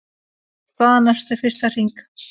Staðan eftir fyrsta hring